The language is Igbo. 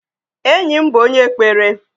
Enyị bụ onye kpere.